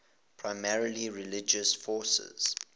primarily religious focus